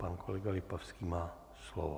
Pan kolega Lipavský má slovo.